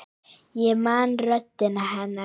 Ég man röddina hennar.